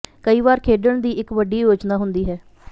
ਕਈ ਵਾਰ ਖੇਡਣ ਦੀ ਇੱਕ ਵੱਡੀ ਯੋਜਨਾ ਹੁੰਦੀ ਹੈ